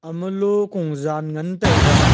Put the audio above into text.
ama lo ko jan ngan taiga.